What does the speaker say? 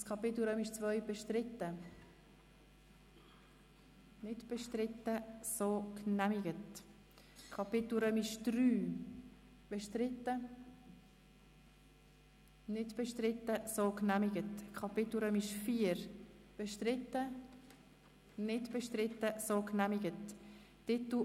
Es handelt sich um den Bericht des Regierungsrats zur zentralen Ausnüchterungsstelle des Kantons Bern in Erfüllung der Motionen Geissbühler-Strupler und Löffel-Wenger.